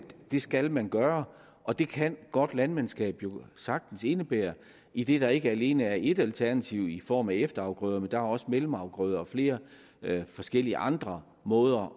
det skal man gøre og det kan godt landmandskab jo sagtens indebære idet der ikke alene er ét alternativ i form af efterafgrøderne for der er også mellemafgrøder og flere forskellige andre måder